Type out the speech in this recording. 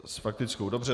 S faktickou, dobře.